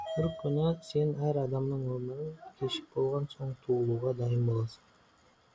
бір күні сен әр адамның өмірін кешіп болған соң туылуға дайын боласың